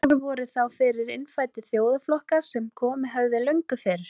Þar voru þá fyrir innfæddir þjóðflokkar sem komið höfðu löngu fyrr.